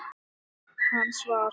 Nafn hans var